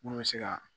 Mun bɛ se ka